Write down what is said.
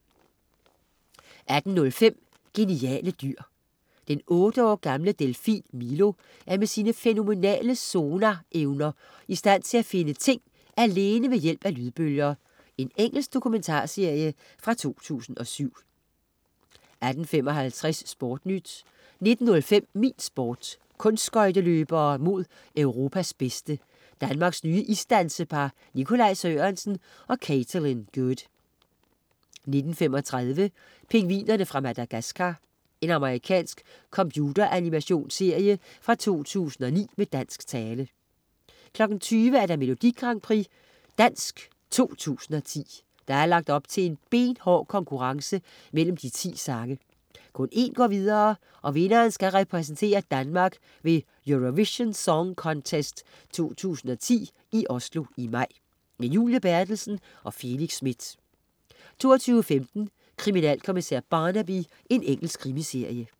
18.05 Geniale dyr. Den otte år gamle delfin Milo er med sine fænomenale sonarevner i stand til at finde ting alene ved hjælp af lydbølger. Engelsk dokumentarserie fra 2007 18.55 SportNyt 19.05 Min Sport: Kunstskøjteløbere mod Europas bedste. Danmarks nye isdansepar Nikolaj Sørensen og Katelyn Good 19.35 Pingvinerne fra Madagascar. Amerikansk computeranimationsserie fra 2009 med dansk tale 20.00 Dansk Melodi Grand Prix 2010. der er lagt op til benhård konkurrence mellem de 10 sange. Kun en går videre, og vinderen skal repræsentere Danmark ved Eurovision Song Contest 2010 i Oslo i maj. Julie Berthelsen og Felix Smith 22.15 Kriminalkommissær Barnaby. Engelsk krimiserie